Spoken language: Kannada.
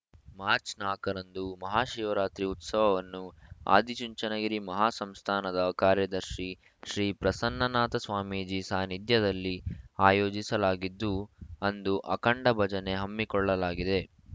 ಮಾರ್ಚ್ ನಾಲ್ಕ ರಂದು ಮಹಾಶಿವರಾತ್ರಿ ಉತ್ಸವವನ್ನು ಆದಿಚುಂಚನಗಿರಿ ಮಹಾಸಂಸ್ಥಾನದ ಕಾರ್ಯದರ್ಶಿ ಶ್ರೀ ಪ್ರಸನ್ನನಾಥ ಸ್ವಾಮೀಜಿ ಸಾನ್ನಿಧ್ಯದಲ್ಲಿ ಆಯೋಜಿಸಲಾಗಿದ್ದು ಅಂದು ಅಖಂಡ ಭಜನೆ ಹಮ್ಮಿಕೊಳ್ಳಲಾಗಿದೆ